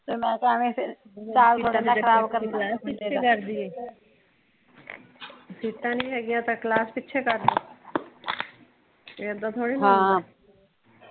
ਸੀਟਾਂ ਨਹੀਂ ਹੇਗੀਆਂ ਤਾ ਕਲਾਸ ਪਿੱਛੇ ਕਰਦੀਏ ਏਦਾਂ ਥੋੜੀ ਨਾ ਹੁੰਦਾ।